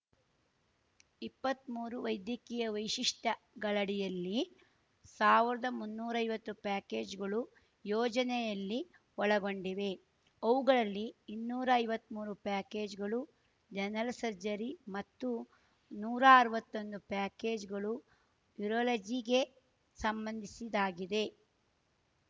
ಇಪ್ಪತ್ಮೂರು ವೈದ್ಯಕೀಯ ವೈಶಿಷ್ಟ್ಯಗಳಡಿಯಲ್ಲಿ ಸಾವರ್ದಮುನ್ನೂರೈವತ್ತು ಪ್ಯಾಕೇಜುಗಳು ಯೋಜನೆಯಲ್ಲಿ ಒಳಗೊಂಡಿವೆ ಅವುಗಳಲ್ಲಿ ಇನ್ನೂರೈವತ್ಮೂರು ಪ್ಯಾಕೇಜ್‌ಗಳು ಜನರಲ್‌ ಸರ್ಜರಿ ಮತ್ತು ನೂರಾ ಅರ್ವತ್ತೊಂದು ಪ್ಯಾಕೇಜ್‌ಗಳು ಯೂರೊಲಜಿಗೆ ಸಂಬಂಧಿಸಿದಾಗಿದೆ